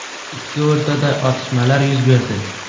Ikki o‘rtada otishmalar yuz berdi.